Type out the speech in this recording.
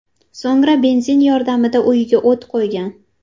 So‘ngra benzin yordamida uyiga o‘t qo‘ygan.